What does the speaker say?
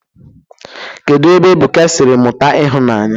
Kedụ ebe Ebuka siri mụta ịhụnanya?